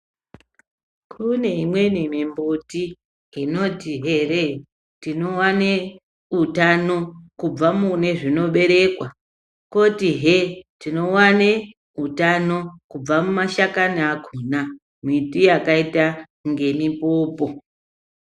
Kune imweni mimbuti inoti here tinowane utano kubva mune zvinoberekwa. Kotihe tinowane utano kubva kumashakani akona mwiti yakaita ngemipopo.